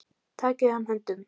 Takið hann höndum.